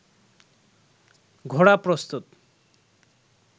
ঘোড়া প্রস্তুত